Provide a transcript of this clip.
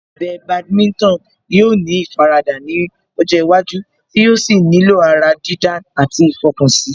Ẹ̀bẹ̀ Badminton yóò ní ìfaradà ní ọjọ́ iwájú tí yóò sì nílò ará dídá àti ìfọkànsí